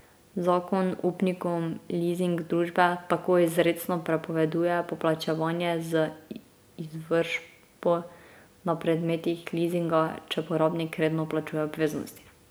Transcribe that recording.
Zakon upnikom lizing družbe tako izrecno prepoveduje poplačevanje z izvršbo na predmetih lizinga, če porabnik redno plačuje obveznosti.